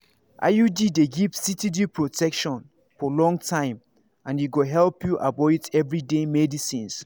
iud dey give steady protection for long time and e go help you avoid everyday medicines.